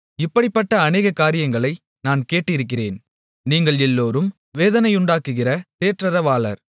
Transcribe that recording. இப்படிப்பட்ட அநேக காரியங்களை நான் கேட்டிருக்கிறேன் நீங்கள் எல்லோரும் வேதனையுண்டாக்குகிற தேற்றரவாளர்